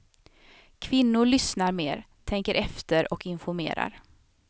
Kvinnor lyssnar mer, tänker efter och informerar.